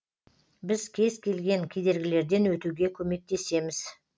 біз кез келген кедергілерден өтуге көмектесеміз